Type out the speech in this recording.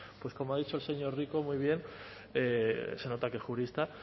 como ha dicho el señor rico muy bien se nota que es jurista